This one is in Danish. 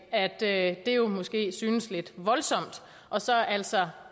af at det jo måske synes lidt voldsomt og så altså